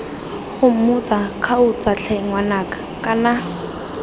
gomotsa kgaotsa tlhe ngwanaka kana